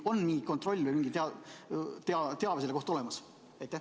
Kas on mingi kontroll või mingi teave selle kohta olemas?